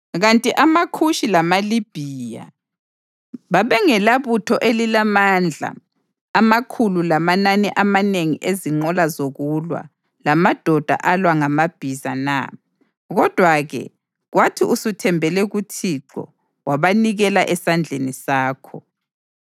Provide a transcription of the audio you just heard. Kanti amaKhushi lamaLibhiya babengelabutho elilamandla amakhulu lamanani amanengi ezinqola zokulwa lamadoda alwa ngamabhiza na? Kodwa-ke kwathi usuthembele kuThixo, wabanikela esandleni sakho.